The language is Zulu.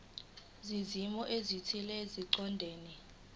zezimo ezithile eziqondene